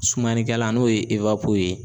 Sumanikɛlan n'o ye ewapo ye